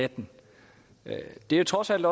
atten det er trods alt